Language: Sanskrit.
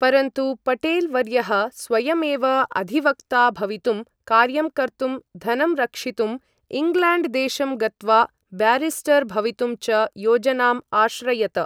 परन्तु पटेल् वर्यः स्वयमेव अधिवक्ता भवितुम्, कार्यं कर्तुं, धनं रक्षितुम्, इङ्ग्लेण्ड् देशं गत्वा ब्यारिस्टर् भवितुं च योजनाम् आश्रयत।